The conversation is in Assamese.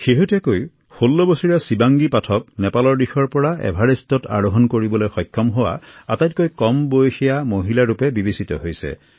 শেহতীয়াকৈ ১৬বছৰীয়া শিৱাংগী পাঠক নেপালৰ দিশৰ পৰা এভাৰেষ্ট আৰোহন কৰা সৰ্বকনিষ্ঠ ভাৰতীয় মহিলা হিচাপে চিহ্নিত হয়